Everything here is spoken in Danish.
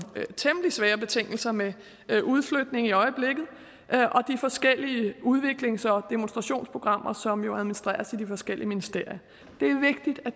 temmelig svære betingelser med udflytning i øjeblikket og de forskellige udviklings og demonstrationsprogrammer som administreres i de forskellige ministerier